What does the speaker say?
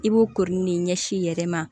I b'o koronin ɲɛsi i yɛrɛ ma